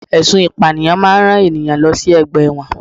Ẹsùn ìpànìyàn máa ń rán ènìyàn lọ sí ọgbà ẹ̀wọ̀n